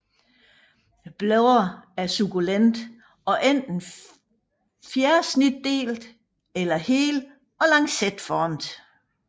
Bladene er sukkulente og enten fjersnitdelte eller hele og lancetformede